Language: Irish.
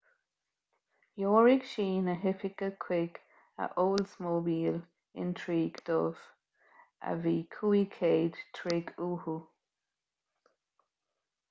threoraigh sí na hoifigigh chuig a oldsmobile intrigue dubh a bhí 500 troigh uathu